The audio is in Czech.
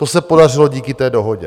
To se podařilo díky té dohodě.